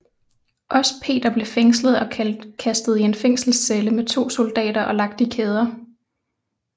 Også Peter blev fængslet og kastet i en fælgselscelle med to soldater og lagt i kæder